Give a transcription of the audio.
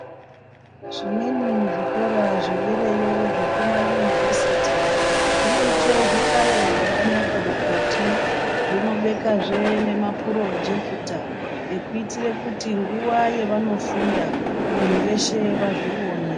Zvimweni zvikora zvedereyo zvekumayunivhesiti, zvinoite zvihlayo zvakanaka mukati. Zvinobekazve nemapurojekita ekuitire kuti nguwa yevanofunda, vanhu veshe vazvione.